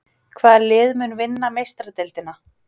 Hvaða lið mun vinna Meistaradeildina?